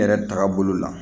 Yɛrɛ tagabolo la